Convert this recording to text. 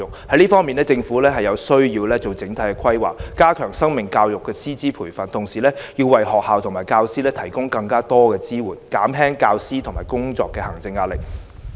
在這方面，政府有需要作整體的規劃，加強生命教育的師資培訓，同時為學校和教師提供更多支援，減輕教師的工作和行政壓力。